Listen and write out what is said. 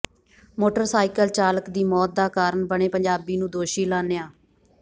motorcycle ਚਾਲਕ ਦੀ ਮੌਤ ਦਾ ਕਾਰਨ ਬਣੇ ਪੰਜਾਬੀ ਨੂੰ ਦੋਸ਼ੀ ਐਲਾਨਿਆ